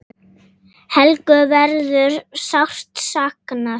Helgu verður sárt saknað.